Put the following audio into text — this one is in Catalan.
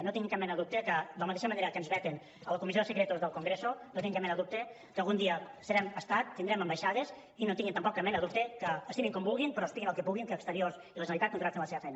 no tinguin cap mena de dubte que de la mateixa manera que ens veten a la comissió de secretos del congreso no tinguin cap mena de dubte que algun dia serem estat tindrem ambaixades i no tinguin tampoc cap mena de dubte que estimin com vulguin però espiïn el que puguin que exteriors i la generalitat continuarà fent la seva feina